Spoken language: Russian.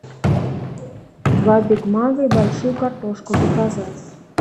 два биг мака и большую картошку заказать